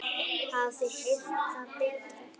Hafið þið heyrt það betra?